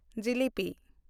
ᱡᱤᱞᱤᱯᱤ